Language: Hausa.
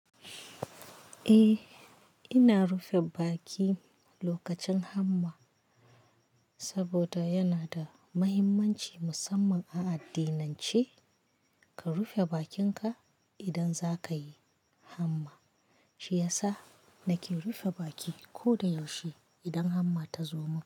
Eh, ina rufe baki lokacin hamma saboda yana da muhimmanci musamman a addinance ka rufe bakinka idan zaka yi hamma. Shi ya sa nake rufe baki ko da yaushe idan hamma ta zo mun.